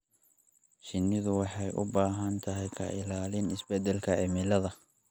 Shinnidu waxay u baahan tahay ka ilaalin isbeddelka cimilada.